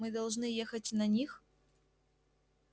мы должны ехать на них